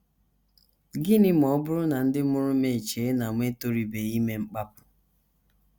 Gịnị Ma Ọ Bụrụ na Ndị Mụrụ M Echee na Mụ Etorubeghị Ime Mkpapụ? ”